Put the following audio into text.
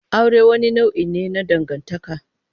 Aure wani nau'i ne na dangantaka.